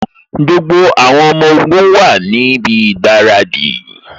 Gbogbo àwọn ọmọ ogun wá níbi ìgbáradì